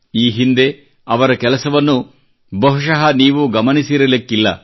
ಈ ಹಿಂದೆ ಅವರ ಕೆಲಸವನ್ನು ಬಹುಶಃ ನೀವೂ ಗಮನಿಸಿರಲಿಕ್ಕಿಲ್ಲ